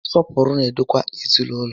Nsọpụrụ na-edokwa ezinaụlọ